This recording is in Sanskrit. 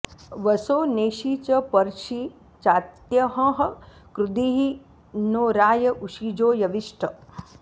वसो॒ नेषि॑ च॒ पर्षि॒ चात्यंहः॑ कृ॒धी नो॑ रा॒य उ॒शिजो॑ यविष्ठ